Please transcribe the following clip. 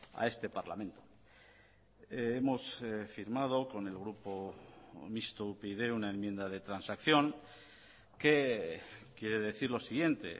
a este parlamento hemos firmado con el grupo mixto upyd una enmienda de transacción que quiere decir lo siguiente